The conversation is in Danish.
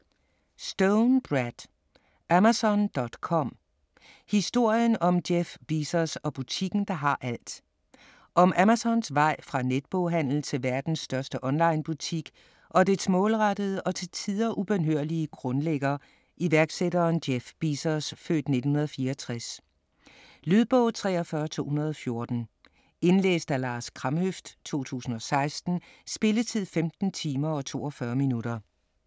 Stone, Brad: Amazon.com: historien om Jeff Bezos og butikken der har alt Om Amazons vej fra netboghandel til verdens største onlinebutik og dets målrettede og til tider ubønhørlige grundlægger, iværksætteren Jeff Bezos (f. 1964). Lydbog 43214 Indlæst af Lars Kramhøft, 2016. Spilletid: 15 timer, 42 minutter.